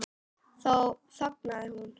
Þá þagnaði hún.